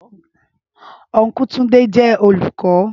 Ọnkú Túndé jẹ́ olùkọ́